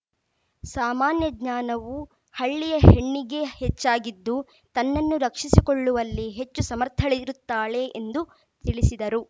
ಸಾಮಾನ್ಯ ಜ್ಞಾನವೂ ಹಳ್ಳಿಯ ಹೆಣ್ಣಿಗೆ ಹೆಚ್ಚಾಗಿದ್ದು ತನ್ನನ್ನು ರಕ್ಷಿಸಿಕೊಳ್ಳುವಲ್ಲಿ ಹೆಚ್ಚು ಸಮರ್ಥಳಿರುತ್ತಾಳೆ ಎಂದು ತಿಳಿಸಿದರು